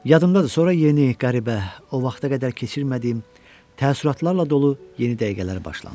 Yadımdadır, sonra yeni, qəribə, o vaxta qədər keçirmədiyim, təəssüratlarla dolu yeni dəqiqələr başlandı.